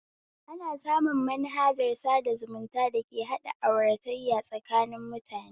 Ana samu manhajar sada zumuta dake haɗa auratayya tsakanin mutane